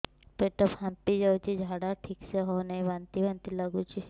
ପେଟ ଫାମ୍ପି ଯାଉଛି ଝାଡା ଠିକ ସେ ହଉନାହିଁ ବାନ୍ତି ବାନ୍ତି ଲଗୁଛି